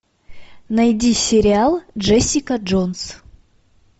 найди сериал джессика джонс